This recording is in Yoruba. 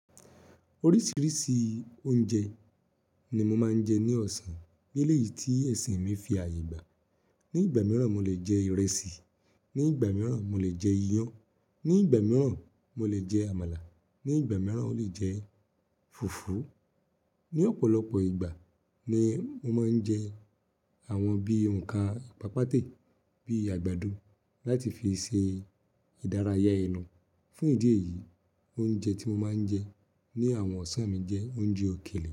Oríṣiríṣi oúnjẹ ni mo máa ń jẹ ní ọ̀sán nílé yìí tí ẹ̀sìn mi fi àyè gbà. Ni ìgbà mìíràn, mo lè jẹ ìrẹsì, ní ìgbà mìíràn, mo lè jẹ iyán, ní ìgbà mìíràn, mo lè jẹ àmàlà, ní ìgbà mìíràn, o lè jẹ fùfú. Ni ọ̀pọ̀lọpọ̀ ìgbà ni mo máa ń jẹ àwọn bí òǹkà pápátẹ́ bíi àgbàdo láti fi ṣe ìdárayá ẹnu. Fún ìdí èyí, oúnjẹ tí mo máa ń jẹ ní àwọn ọ̀sán mi jẹ́ oúnjẹ òkèlè.